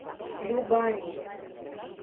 любани